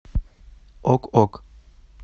ок ок